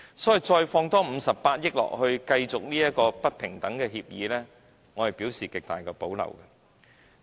所以，再投放58億元繼續這項不平等的協議，我表示極大保留。